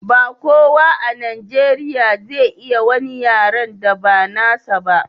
ba kowa a najeriya zai iya wani yaren da ba nasa ba